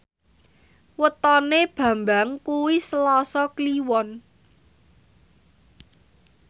wetone Bambang kuwi Selasa Kliwon